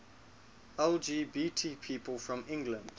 lgbt people from england